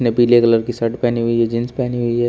पीले कलर की शर्ट पहनी हुई जींस पहनी हुई है।